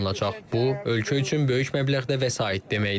Bu ölkə üçün böyük məbləğdə vəsait deməkdir.